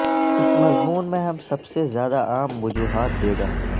اس مضمون میں ہم سب سے زیادہ عام وجوہات دے گا